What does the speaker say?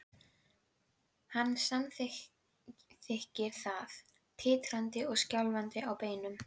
Hann samþykkir það, titrandi og skjálfandi á beinunum.